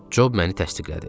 Job məni təsdiqlədi.